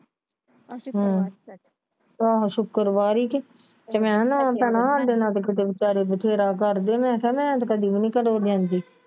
ਆਹੋ ਸ਼ੁੱਕਰਵਾਰ ਹੀ ਕੇ ਤੇ ਮੈਂ ਨਾ ਭੈਣਾਂ ਸਾਡੇ ਨਾਲ ਕੀਤੇ ਵਿਚਾਰੇ ਬਥੇਰਾ ਕਰਦੇ ਮੈਂ ਕਿਹਾ ਮੈਂ ਤੇ ਕਦੀ ਵੀ ਨਹੀਂ